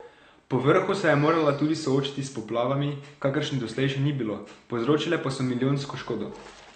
Povrhu se je morala tudi soočiti s poplavami, kakršnih doslej še ni bilo, povzročile pa so milijonsko škodo.